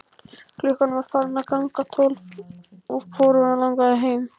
Klukkan var farin að ganga tólf og hvorugan langaði heim.